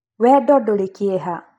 Wendo ndũrĩ kĩeha.